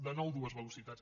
de nou dues velocitats